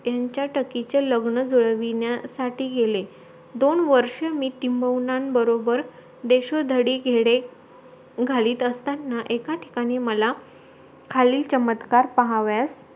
त्यांचा टकीचे लग्न जुळविण्यासाठी गेले दोन वर्ष मी टिम्बवुनांन बरोबर देशोधडी गेले घालीत असतांना एका ठिकाणी माला खालील चमत्कार पाहावयास